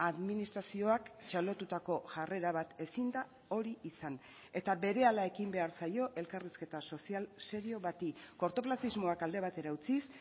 administrazioak txalotutako jarrera bat ezin da hori izan eta berehala ekin behar zaio elkarrizketa sozial serio bati kortoplazismoak alde batera utziz